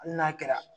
Hali n'a kɛra